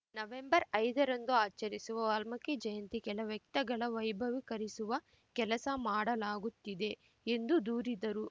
ನವೆಂಬರ್ಐದರಂದು ಆಚರಿಸುವ ವಾಲ್ಮೀಕಿ ಜಯಂತಿ ಕೆಲ ವ್ಯಕ್ತಗಳ ವೈಭವೀಕರಿಸುವ ಕೆಲಸ ಮಾಡಲಾಗುತ್ತಿದೆ ಎಂದು ದೂರಿದರು